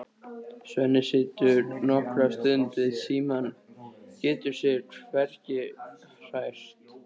Svenni situr nokkra stund við símann, getur sig hvergi hrært.